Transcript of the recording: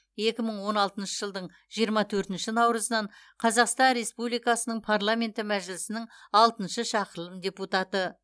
екі мың он алтыншы жылдың жиырма төртінші наурызынан қазақстан республикасының парламенті мәжілісінің алтыншы шақырылым депутаты